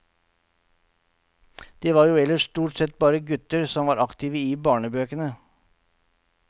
Det var jo ellers stort sett bare gutter som var aktive i barnebøkene.